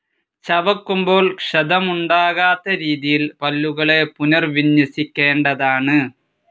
ചവയ്ക്കുമ്പോൾ ക്ഷതമുണ്ടാകാത്ത രീതിയിൽ പല്ലുകളെ പുനർവിന്യസിക്കേണ്ടതാണ്.